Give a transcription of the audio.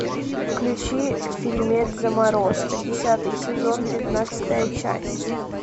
включи фильмец заморозка десятый сезон пятнадцатая часть